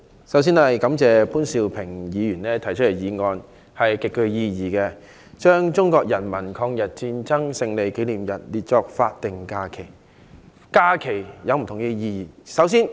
我發言支持潘兆平議員提出的議案，把中國人民抗日戰爭勝利紀念日列為法定假日。